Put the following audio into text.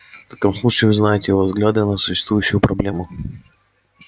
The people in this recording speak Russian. в таком случае вы знаете его взгляды на существующую проблему